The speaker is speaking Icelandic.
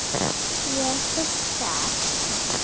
Ég hugsa ekki.